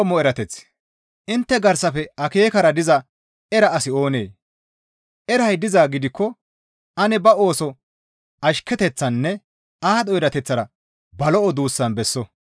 Intte garsafe akeekara diza era asi oonee? Eray dizaa gidikko ane ba ooso ashketeththaninne aadho erateththara ba lo7o duussan besso.